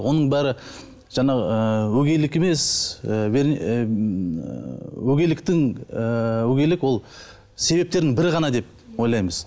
оның бәрі жаңағы ыыы өгейлік емес ы ммм ыыы өгейліктің ы өгейлік ол себептердің бірі ғана деп ойлаймыз